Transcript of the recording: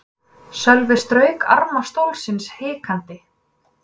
Sölvi strauk arma stólsins hikandi.